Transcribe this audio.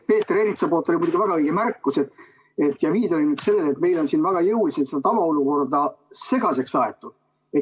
Peeter Ernits tegi väga õige märkuse ja viitas sellele, et meil on siin väga jõuliselt tavaolukorda segaseks aetud.